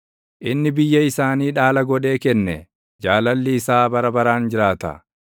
inni biyya isaanii dhaala godhee kenne; Jaalalli isaa bara baraan jiraata.